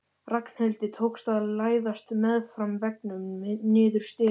Ragnhildi tókst að læðast meðfram veggnum niður stigann.